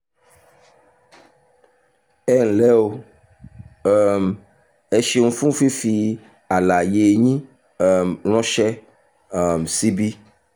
ẹ ǹlẹ́ o! um ẹ ṣeun fún fífi àlàyé yín um ránṣẹ́ um síbí